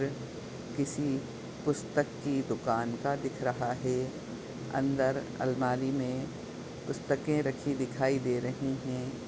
वह किसी पुस्तक की दुकान का दिख रहा है अंदर अलमारी मे पुस्तके रखी दिखाई दे रही हैं ।